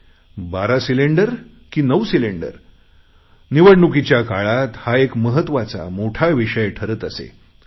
12 cylinder की 9 निवडणुकीच्या काळात हा एक महत्त्वाचा मोठा विषय ठरत असे